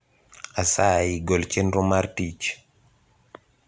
asayi gol chenro mar tich